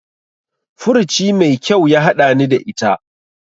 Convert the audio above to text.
Furuci mai kyau ya haɗani ta ita.